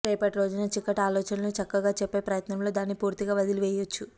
రేపటి రోజున చిక్కటి ఆలోచనలను చక్కగా చెప్పే ప్రయత్నంలో దాన్ని పూర్తిగా వదలి వేయొచ్చు